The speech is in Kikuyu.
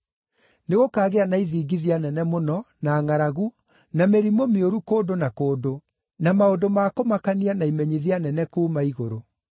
Nĩgũkaagĩa na ithingithia nene mũno, na ngʼaragu, na mĩrimũ mĩũru kũndũ na kũndũ, na maũndũ ma kũmakania na imenyithia nene kuuma igũrũ.